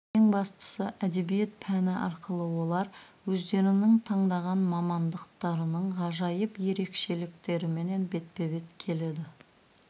ең бастысы әдебиет пәні арқылы олар өздерінің таңдаған мамандықтарының ғажайып ерекшеліктерімен бетпе бет келеді